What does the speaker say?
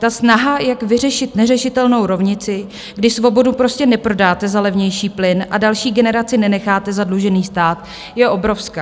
Ta snaha, jak vyřešit neřešitelnou rovnici, když svobodu prostě neprodáte za levnější plyn a další generaci nenecháte zadlužený stát, je obrovská.